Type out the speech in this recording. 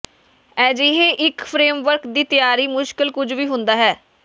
ਅਜਿਹੇ ਇੱਕ ਫਰੇਮਵਰਕ ਦੀ ਤਿਆਰੀ ਮੁਸ਼ਕਲ ਕੁਝ ਵੀ ਹੁੰਦਾ ਹੈ